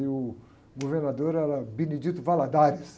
E o governador era Benedito Valadares.